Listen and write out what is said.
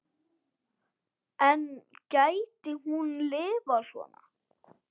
En gæti hún lifað svona?